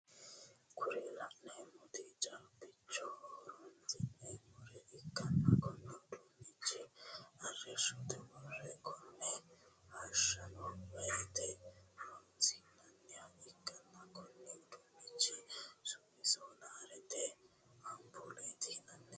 Kuri laneemoti caaabbichoho horonsineemore ikkana konne uduunnichono arrishote worre kanee hashshano woyite horonssinaniha ikkanna Konni uduunnichi summino soraaletenna ampuulete yinanni